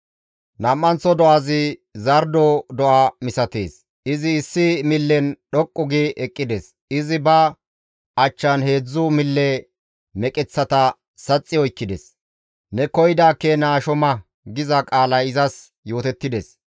«Nam7anththo do7azi zardo do7a misatees; izi issi millen dhoqqu gi eqqides; izi ba achchan heedzdzu mille meqeththata saxxi oykkides; ‹Ne koyida keena asho ma› giza qaalay izas yootettides.